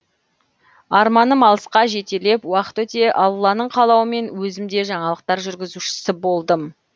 арманым алысқа жетелеп уақыт өте алланың қалауымен өзім де жаңалықтар жүргізушісі болдым